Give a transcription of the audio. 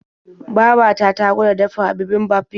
Baba ta ta gwada dafa bibimbap yau.